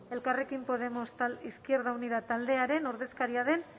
elkarrekin podemos izquierda unida taldearen ordezkaria den